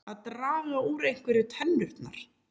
Að draga úr einhverju tennurnar